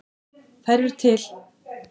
Þær eru til!